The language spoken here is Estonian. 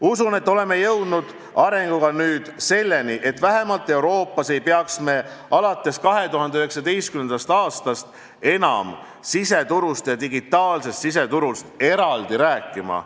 Usun, et oleme jõudnud arenguga nüüd selleni, et vähemalt Euroopas ei peaks me alates 2019. aastast enam siseturust ja digitaalsest siseturust eraldi rääkima.